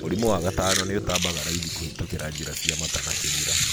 Mũrimũ wa gatano nĩ ũtambaga raithi kũhĩtũkira njĩra ya mata na kĩmĩra.